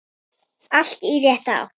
Allt í rétta átt.